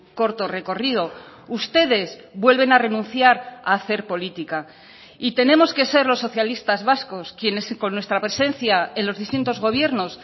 corto recorrido ustedes vuelven a renunciar a hacer política y tenemos que ser los socialistas vascos quienes con nuestra presencia en los distintos gobiernos